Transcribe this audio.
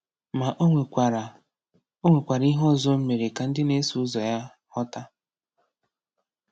Ma o nwekwara o nwekwara ihe ọzọ o mere ka ndị na-eso ụzọ ya ghọta.